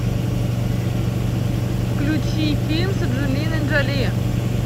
включи фильм с анджелиной джоли